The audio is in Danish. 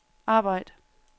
arbejd